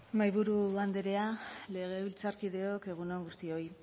mahaiburu andrea legebiltzarkideok egun on guztioi